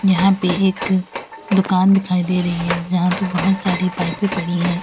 यहां पे एक दुकान दिखाई दे रही है जहां पे बहोत सारी पाइपें पड़ी हैं।